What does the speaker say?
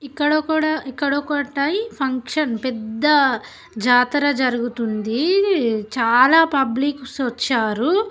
ఇక్కడొకడా ఇక్కడ ఒకటై ఫంక్షన్ పెద్ద జాతర జరుగుతుంది. చాలా పబ్లిక్ సోచ్చారు.